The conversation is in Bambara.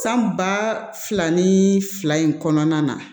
San ba fila ni fila in kɔnɔna na